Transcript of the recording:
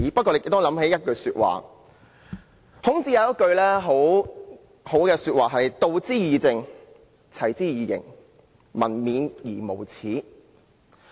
我想起孔子一句很好的說話："道之以政，齊之以刑，民免而無耻。